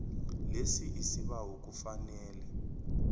lesi isibawo kufanele